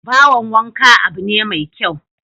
Bohon wanka abu ne mai kyau